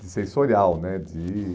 de sensorial, né? De